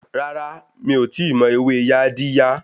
Rárá, mí ò tíì mọ ewé Yaadiya.